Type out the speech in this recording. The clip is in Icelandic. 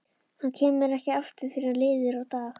Hann kemur ekki aftur fyrr en liðið er á dag.